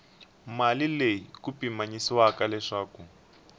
mali leyi ku pimanyisiwaka leswaku